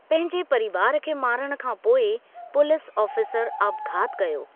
पंहिंजे परिवार खे मारण खां पोइ पुलिस ऑफ़ीसर आपघातु कयो।